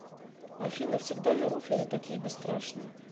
афина всегда ли руферы такие бесстрашные